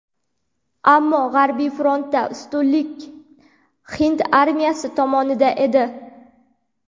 Ammo g‘arbiy frontda ustunlik hind armiyasi tomonida edi.